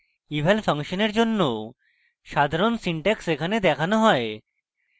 eval ফাংশনের জন্য সাধারণ syntax এখানে দেখানো হয়